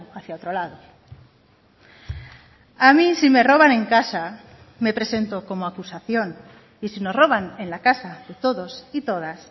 hacia otro lado a mí si me roban en casa me presento como acusación y si nos roban en la casa de todos y todas